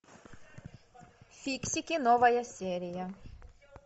фиксики новая серия